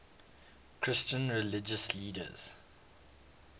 christian religious leaders